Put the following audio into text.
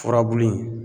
Furabulu in